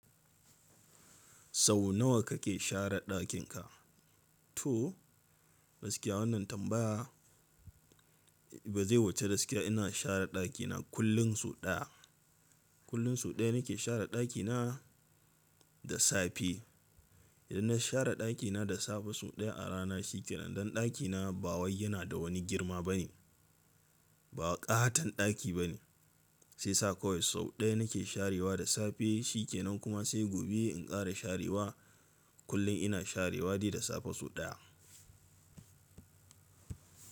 Sau nawa kake share ɗakin ka? To gaskiya wannan tambaya ba zai wuce gaskiya. Ina share ɗakina kullum sau ɗaya. Kullum sau ɗaya nake share ɗakina da safe. Idan na share ɗakina da safe sau ɗaya a rana shi ke nan. Dan ɗakina ba wai yana da wani girma ba ne. Ba ƙaton ɗaki ba ne. Shi yasa kowai sau ɗaya nake sharewa da safe shi ke nan. Kuma sai gobe in ƙara sharewa. Kullum ina sharewa dai da safe sau ɗaya.